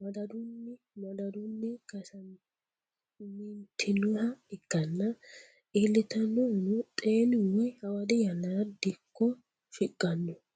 madadaunni madaduni kayisanitinoha ikana ilitanohuno xeni woyi hawadi yanarati diko shiqano